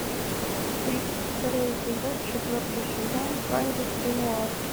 тридцать второй эпизод четвертый сезон кандис ренуар